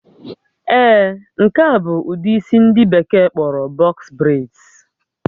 Ee, nke a bụ ụdị isi ndị Bekee kpọrọ box braids